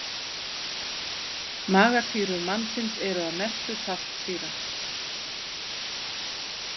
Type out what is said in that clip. Magasýrur mannsins eru að mestu saltsýra.